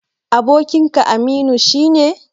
Abokinka Aminu shi ne?